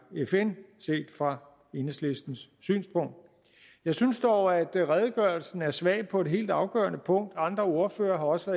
fn set fra enhedslistens synspunkt jeg synes dog at redegørelsen er svag på et helt afgørende punkt andre ordførere har også